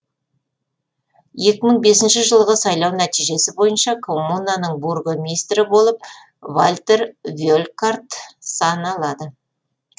екі мың бесінші жылғы сайлау нәтижесі бойынша коммунаның бургомистрі болып вальтер велькарт саналады